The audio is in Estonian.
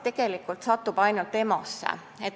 Tema satub ainult EMO-sse.